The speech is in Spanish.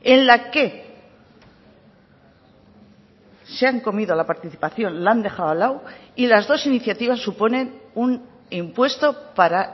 en la que se han comido la participación la han dejado al lado y las dos iniciativas suponen un impuesto para